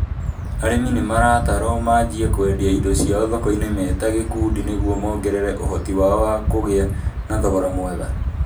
Arĩmi nĩ maratarũo manjie kũendia indo ciao thoko-inĩ me ta gĩkundi nĩ guo mongerere ũhoti wao wa kũgia na thogora mũega